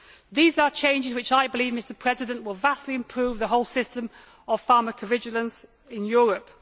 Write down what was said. These are changes which I believe will vastly improve the whole system of pharmacovigilance in Europe.